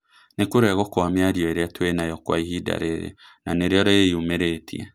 Nĩ kũregwo Kwa mĩario ĩrĩa twĩnayo Kwa ihinda rĩrĩ na nĩrĩo rĩyumĩrĩtie